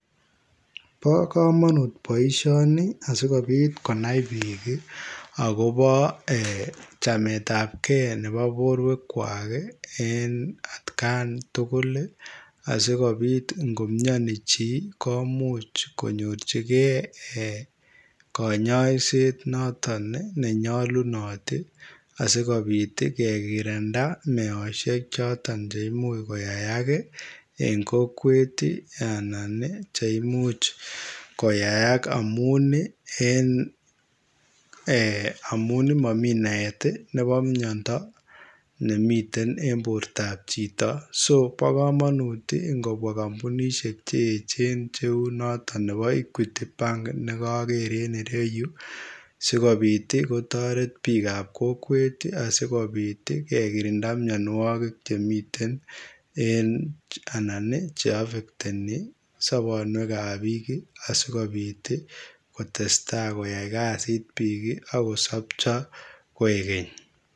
Bo kamanut boisioni asikobiit konai biik agobo chametaab gei nebo boruek kwaak en aat Gaan tugul ii asikobiit ingomianii chii komuuch konyoorjigei kanyaiseet noton ne nyalunaat ii asikobiit ii kegerinda meosiek ii chotoon cheimuuch koyaak ii en kokwet ii anan cheimuuch koyaak amuun ii en eh amuun mamii naet ii nebo miando nemiten en borto chitoo[so] bo kamanut ingobwaa kampunisheek cheecheen neu nebo [equity bank] neu nekager en yuu sikobiit kotareet biik ab kokweet ii asikobiit kegirinda mianwagik chemiten en anan ii che affectenii soboonweek ab biik ii asikobiit sikotestai koyai kazit biik agosabchai koeg keeny.